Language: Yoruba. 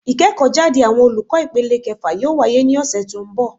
Ìkéèkó jáde àwọn olùkó ìpele kefà yóò wáyé ní òsè tí ó n bò